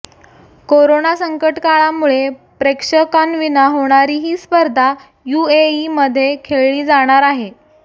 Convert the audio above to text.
corona संकटकाळामुळे प्रेक्षकांविना होणारी ही स्पर्धा यूएईमध्ये खेळली जाणार आहे